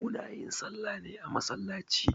Muna yin salla ne a masallaci